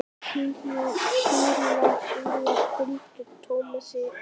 Bílar fylgdu Tómasi alltaf.